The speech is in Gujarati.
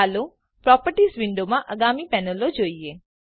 ચાલો પ્રોપર્ટીઝ વિન્ડોમાંની આગલી પેનલો જોઈએ